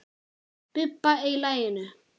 Bubba í laginu.